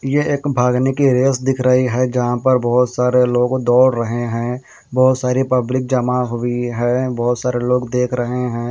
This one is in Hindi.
ये एक भागने की रेस दिख रही है जहां पर बहोत सारे लोग दौड़ रहे हैं बहोत सारी पब्लिक जमा हुई है बहोत सारे लोग देख रहे हैं।